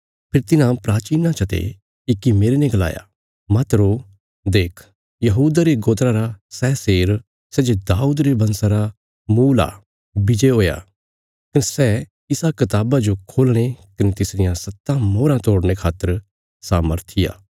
फेरी तिन्हां प्राचीनां चते इक्की मेरने गलाया मत रो देख यहूदा रे गोत्रा रा सै शेर सै जे दाऊद रे वंशा रा मुल़ आ विजय हुया कने सै इसा कताबा जो खोलणे कने तिसरियां सत्तां मोहराँ तोड़ने खातर सामर्थी आ